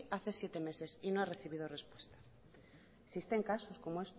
hace siete meses y no ha recibido respuesta existen casos como